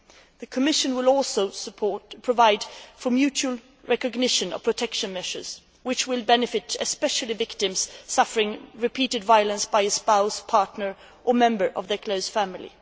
The Commission will also provide for the mutual recognition of protection measures, which will benefit especially victims suffering repeated violence from a spouse, partner or member of their close family.